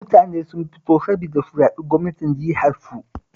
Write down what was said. Mutane sun fito saboda su zaɓi gwamnan jiharsu